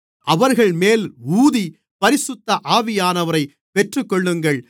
அவர்கள்மேல் ஊதி பரிசுத்த ஆவியானவரைப் பெற்றுக்கொள்ளுங்கள்